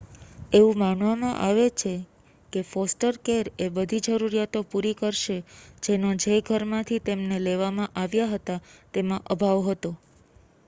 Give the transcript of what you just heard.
એવું માનવામાં આવે છે કે ફોસ્ટર કેર એ બધી જરૂરીયાતો પૂરી કરશે જેનો જે ઘરમાંથી તેમને લેવામાં આવ્યા હતા તેમાં અભાવ હતો